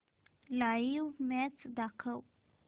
live match दाखव